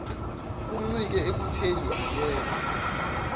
kuncike ekutheni akekho